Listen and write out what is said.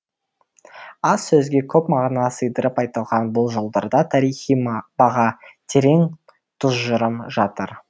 аз сөзге көп мағына сыйдырып айтылған бұл жолдарда тарихи баға терең түжырым жатыр